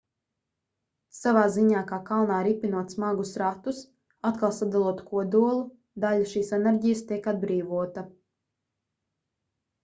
savā ziņā kā kalnā ripinot smagus ratus atkal sadalot kodolu daļa šīs enerģijas tiek atbrīvota